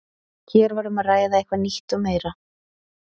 Hér var um að ræða eitthvað nýtt og meira.